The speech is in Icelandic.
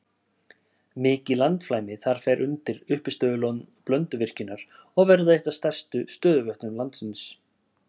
Mikið landflæmi þar fer undir uppistöðulón Blönduvirkjunar og verður eitt af stærstu stöðuvötnum landsins.